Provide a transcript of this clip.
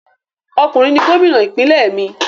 Ọkùnrin ni Gómìnà ìpínlẹ̀ mí